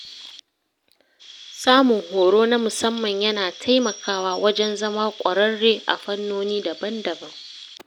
Samun horo na musamman yana taimakawa wajen zama ƙwararre a fannoni daban-daban.